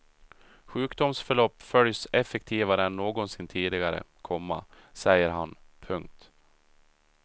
Sjukdomsförlopp följs effektivare än någonsin tidigare, komma säger han. punkt